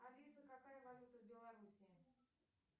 алиса какая валюта в белоруссии